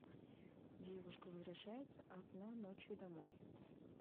девушка возвращается одна ночью домой